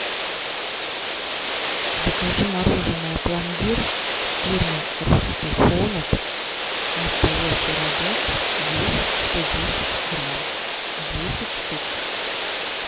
закажи мороженое пломбир фирмы русский холод настоящий рожок вес сто десять грамм десять штук